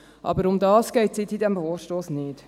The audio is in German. Aber um das geht es in diesem Vorstoss nicht.